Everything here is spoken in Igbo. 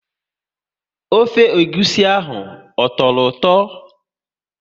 Ofe egwusi ahụ, ọ tọrọ ụtọ?